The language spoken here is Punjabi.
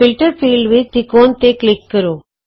ਫਿਲਟਰ ਫੀਲ੍ਡ ਵਿਚ ਤਿਕੋਨ ਤੇ ਕਲਿਕ ਕਰੋ